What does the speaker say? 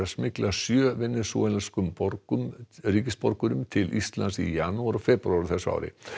smygla sjö ríkisborgurum til Íslands í janúar og febrúar á þessu ári